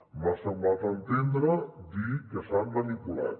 m’ha semblat entendre dir que s’han manipulat